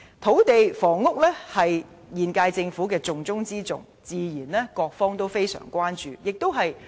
土地房屋是現屆政府施政的重中之重，各界自然相當關注。